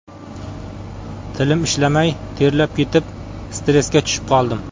Tilim ishlamay, terlab ketib, stressga tushib qoldim.